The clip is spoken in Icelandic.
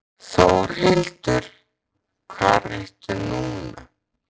Þórhildur, hvar ertu núna?